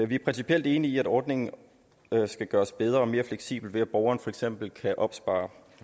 vi er principielt enige i at ordningen skal gøres bedre og mere fleksibel ved at borgeren for eksempel kan opspare